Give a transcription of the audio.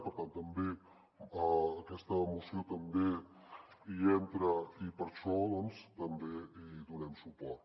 per tant aquesta moció també hi entra i per això doncs també hi donem suport